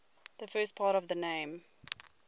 the first part of the name